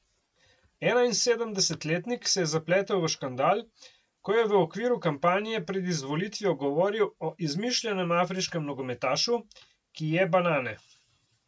Enainsedemdesetletnik se je zapletel v škandal, ko je v okviru kampanje pred izvolitvijo govoril o izmišljenem afriškem nogometašu, ki je banane.